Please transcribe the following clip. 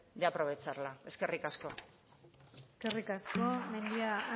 de aprovecharla eskerrik asko eskerrik asko mendia